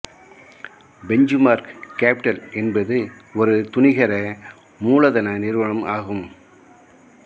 benchmark Capital என்பது ஒரு துணிகர மூலதன நிறுவனம் ஆகும்